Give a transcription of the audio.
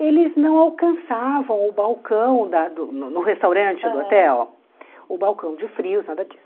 eles não alcançavam o balcão da do no restaurante do hotel, o balcão de frios, nada disso.